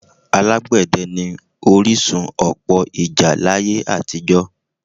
Alágbẹ̀dẹ́ ni orísun ọ̀pọ̀ ìjà láyé àtijọ́